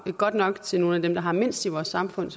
godt nok til nogle af dem der har mindst i vores samfund